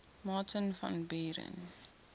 martin van buren